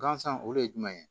Gansan o de ye jumɛn ye